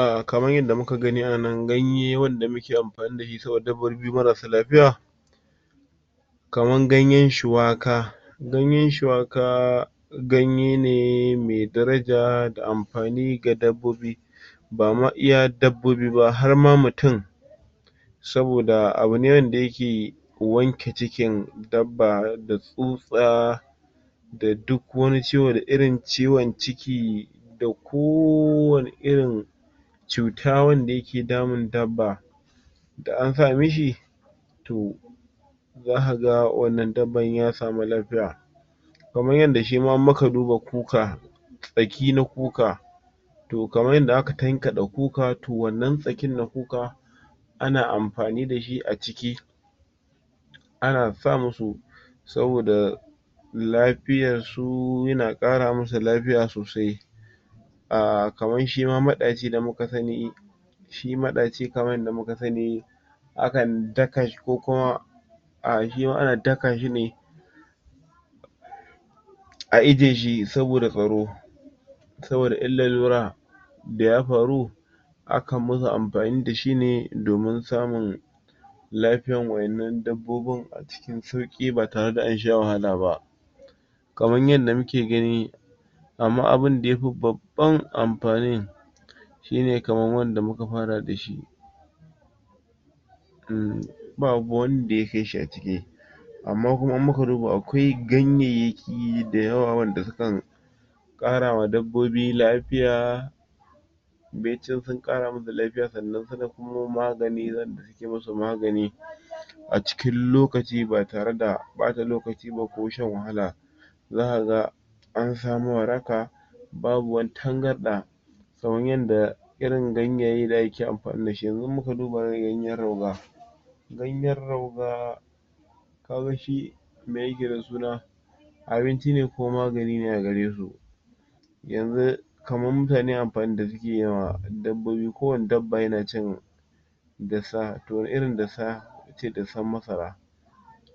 Ah kaman yanda muka gani a nan ganye wanda muke amfani da shi saboda dabbobi marassa lafiya. kaman gayen shuwaka. Gayen shuwaka ganye ne mai daraja da amfani ga dabbobi. Ba ma iya dabbobi ba har ma mutum saboda abu ne wanda ya ke wanke cikin dabba, da tsutsa da duk wani ciwo, da irin ciwon ciki, da kowane irin cuta wanda ya ke damun dabba. Da na sa mishi to za ka ga wannan dabban ya samu lafiya. Kaman yanda shi ma in muka duba kuka. Tsaki na kuka to kaman yadda aka tankaɗe kuka, to wannan tsakin na kuka ana amfani da shi a ciki ana sa musu saboda lafiyae su, ya na ƙara musu lafiya sosai. Ahh kaman shima maɗaci da muka sani. Shi maɗaci kaman yanda kuka sani, akan daka shi ko kuma aa shi ma ana daka shi ne a ijeye shi saboda tsaro, saboda in lalura da ya faru akan musu amfani da shi ne domin samun lafiyan waƴannan dabbobin a cikin sauƙi ba tare da ansha wahala ba. Kaman yanda muke gani amma abun da yafi babban amfani shi ne kaman wanda muka fara da shi, umm, babu wanda ya kai shi a ciki. Amma kuma in muka duba akwai ganyayyaki da yawa wanda sukan ƙarawa dabbobi lafiya baicin sun ƙara musu lafiya sannan kuma magani za su musu magani a cikin lokaci ba tare da ɓata lokaci ba ko shan wahala. Za ka ga an samu waraka babu wata tangarɗa. Kaman yanda irin ganyaye da ake amfani da shi. Yanzu in muka duba irin gayen rauga. Ganyen rauga ka ga shi me ya ke da suna, abinci ne ko magani a gare su. Yanzu kaman mutane amfanin da suke yi ma dabbobi kowane dabba ya na cin dussa. To irin dussa dussan masara.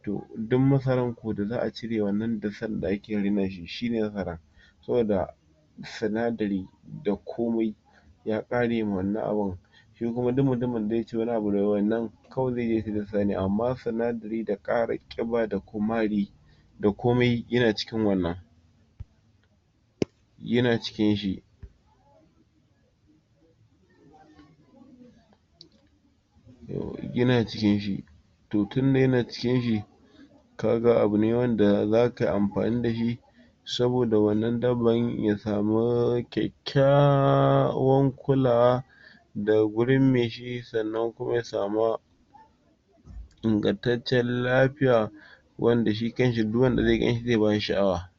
To dun masaran ko da za'a cire wannan dussan da ake rena shi shi ne masara. Saboda sinadari da komai ya ƙare ma wannan abun. Shi kuma duk mutumin da ya ce wani daga wannnan kawai zai je ya sai dussa ne amma sanadari da ƙara ƙiba da kumari da komai ya na cikin wannna. Ya na cikin shi ya na cikin shi to tun da ya na cikin shi ka ga abu ne wanda za ka yi amfani da shi saboda wannan daban ya samu kyakkyawan kulawa daga gurin mai shi. Sannan kuma ya samu ingantaccen lafiya wanda shi kanshi, duk wanda zai ganshi zai ba shi sha'awa.